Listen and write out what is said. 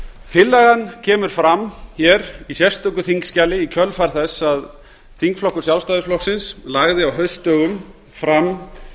tillagan kemur fram hér í sérstöku þingskjali í kjölfar þess að þingflokkur sjálfstæðisflokksins lagði á haustdögum fram